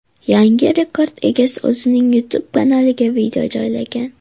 Yangi rekord egasi o‘zining YouTube kanaliga video joylagan.